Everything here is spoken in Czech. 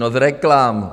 No z reklam!